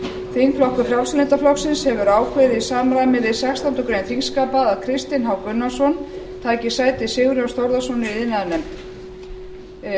þingflokkur frjálslynda flokksins hefur ákveðið í samræmi við sextándu grein þingskapa að kristinn h gunnarsson taki sæti sigurjóns þórðarsonar í iðnaðarnefnd